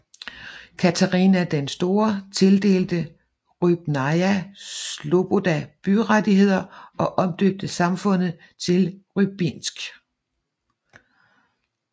Katarina den Store tildelte Rybnaja sloboda byrettigheder og omdøbte samfundet til Rybinsk